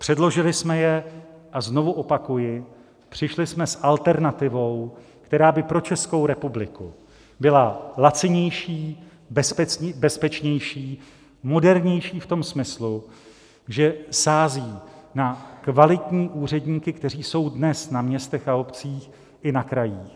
Předložili jsme je a znovu opakuji, přišli jsme s alternativou, která by pro Českou republiku byla lacinější, bezpečnější, modernější v tom smyslu, že sází na kvalitní úředníky, kteří jsou dnes na městech a obcích i na krajích.